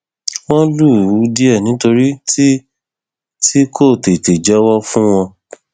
wọn lù ú díẹ nítorí tí tí kò tètè jẹwọ fún wọn